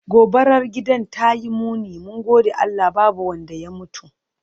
Gobarar gidan tayi muni, mun gode Allah babu wanda ya mutu.